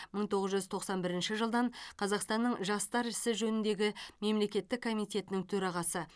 мың тоғыз жүз тоқсан бірінші жылдан қазақстанның жастар ісі жөніндегі мемлекеттік комитетінің төрағасы